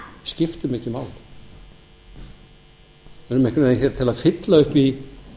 skiptum ekki máli við erum hér til að fylla upp í